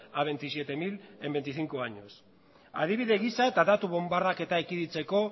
a veintisiete mil en veinticinco años adibide gisa eta datua bonbardaketa ekiditeko